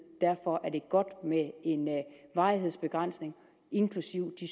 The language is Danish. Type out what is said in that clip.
og derfor er det godt med en varighedsbegrænsning inklusive de